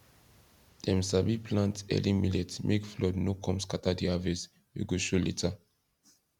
dem sabi plant early millet make flood no come scatter the harvest wey go show later